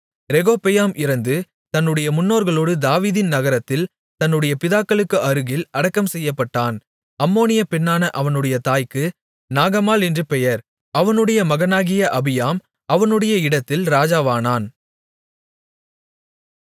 ரெகொபெயாம் இறந்து தன்னுடைய முன்னோர்களோடு தாவீதின் நகரத்தில் தன்னுடைய பிதாக்களுக்கு அருகில் அடக்கம் செய்யப்பட்டான் அம்மோனிய பெண்ணான அவனுடைய தாய்க்கு நாகமாள் என்று பெயர் அவனுடைய மகனாகிய அபியாம் அவனுடைய இடத்தில் ராஜாவானான்